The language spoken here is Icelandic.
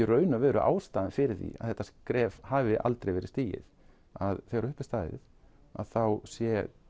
raun og veru ástæðan fyrir því að þetta skref hafi aldrei verið stigið að þegar upp er staðið þá sé